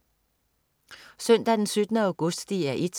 Søndag den 17. august - DR 1: